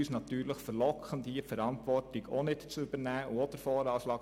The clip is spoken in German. Dies war gerade vorhin bei der Steuerbelastung der Fall.